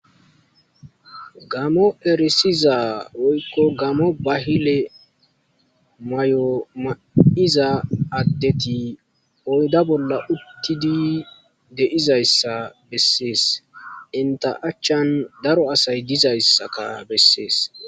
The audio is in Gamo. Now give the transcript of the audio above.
Gaamo erisiza woyko gaamo bahile mayo mayiza adeti oyda bolla de'izaysa beses, enta achani daro asayi dizaysakka beses.